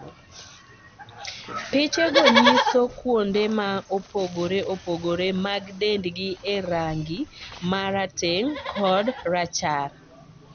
Piche go nyiso kuonde ma opogore opogore mag dendi e rangi mar rateng' kod rachar